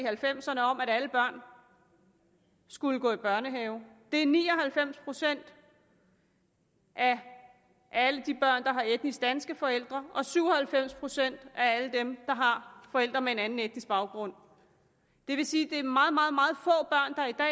halvfems ’erne om at alle børn skulle gå i børnehave det gør ni og halvfems procent af alle de børn der har etnisk danske forældre og syv og halvfems procent af alle dem der har forældre med en anden etnisk baggrund det vil sige